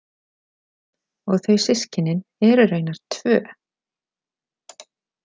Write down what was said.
Og þau systkinin eru raunar tvö.